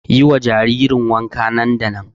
Yi wa jaririn wanka nan da nan!